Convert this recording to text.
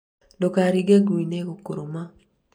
ndũkaringe ngũi nĩĩgũkũrũma